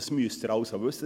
Dies müssen Sie wissen.